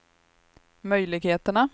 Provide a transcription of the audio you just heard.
möjligheterna